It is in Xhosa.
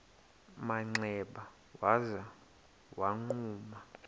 manxeba waza wagquma